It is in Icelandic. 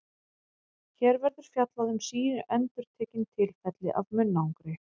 Hér verður fjallað um síendurtekin tilfelli af munnangri.